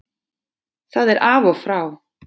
Það er af og frá